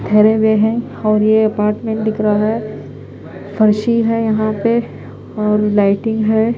ठहरे हुए हैं और ये अपार्टमेंट दिख रहा है फर्शी है यहां पे और लाइटिंग है।